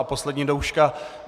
A poslední douška.